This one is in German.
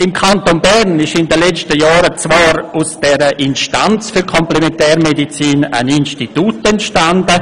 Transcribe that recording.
Im Kanton Bern ist in den letzten Jahren zwar aus dieser Instanz für Komplementärmedizin ein Institut entstanden.